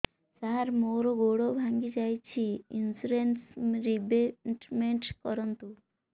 ସାର ମୋର ଗୋଡ ଭାଙ୍ଗି ଯାଇଛି ଇନ୍ସୁରେନ୍ସ ରିବେଟମେଣ୍ଟ କରୁନ୍ତୁ